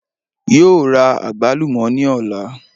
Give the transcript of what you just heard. Yóò ra àgbálùmò ní òla